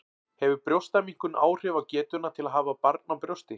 Hefur brjóstaminnkun áhrif á getuna til að hafa barn á brjósti?